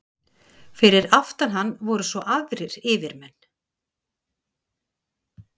Fyrir aftan hann voru svo aðrir yfirmenn.